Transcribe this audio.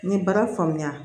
N ye baara faamuya